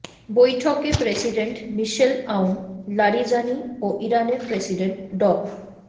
বৈঠকে president Michel Aoun Larijani ও ইরানের প্রেসিডেন্ট ড